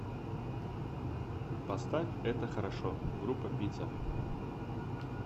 поставь это хорошо группа пицца